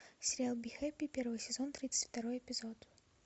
сериал бихэппи первый сезон тридцать второй эпизод